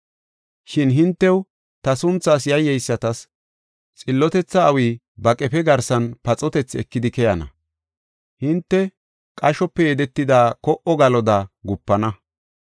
Shin “Hintew, ta sunthaas yayyeysatas, xillotetha awi ba qefe garsan paxotethi ekidi keyana. Hinte qashope yedetida ko77o galoda gupana.